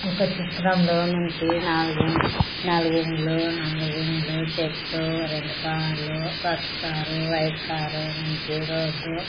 ఒక చిత్రంలో నుంచి నాలుగిండ్లు నాలుగిండ్లు నాలుగిండ్లు చెట్లు రెండు కార్లు పసుపు కారు వైట్ కారు నుంచి రోడ్డు --